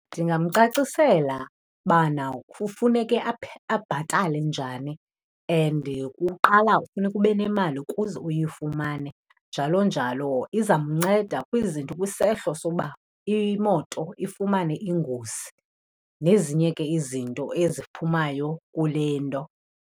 Ndingamcacisela bana kufuneke abhatale njani and kuqala kufuneka ube nemali kuze uyifumane, njalo njalo. Izamnceda kwizinto kwisehlo soba imoto ifumane ingozi nezinye ke izinto eziphumayo kule nto.